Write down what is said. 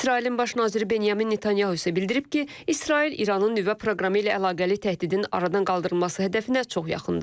İsrailin baş naziri Benyamin Netanyahu isə bildirib ki, İsrail İranın nüvə proqramı ilə əlaqəli təhdidin aradan qaldırılması hədəfinə çox yaxındır.